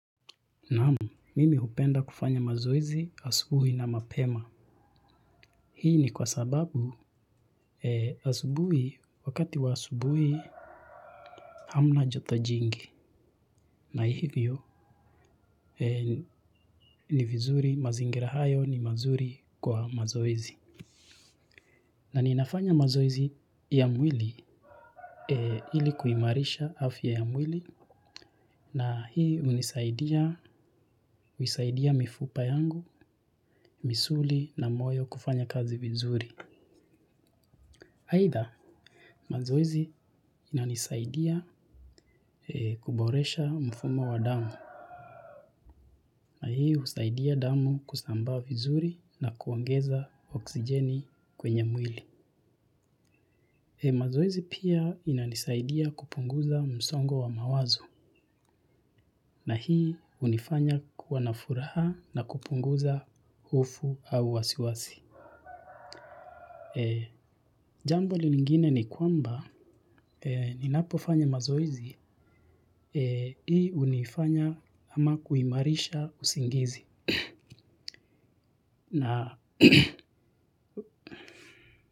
Naam, mimi hupenda kufanya mazoezi asubuhi na mapema. Hii ni kwa sababu asubuhi, wakati wa asubuhi hamna joto jingi na hivyo ni vizuri mazingira hayo ni mazuri kwa mazoezi. Na ninafanya mazoezi ya mwili ili kuimarisha afya ya mwili na hii hunisaidia, husaidia mifupa yangu, misuli na moyo kufanya kazi vizuri. Either, mazoezi inanisaidia kuboresha mfumo wa damu na hii husaidia damu kusambaa vizuri na kuongeza oksijeni kwenye mwili. Mazoezi pia inanisaidia kupunguza msongo wa mawazo na hii hunifanya kuwa na furaha na kupunguza hofu au wasiwasi. Jambo lingine ni kwamba ninapofanya mazoezi, hii hunifanya ama kuimarisha usingizi.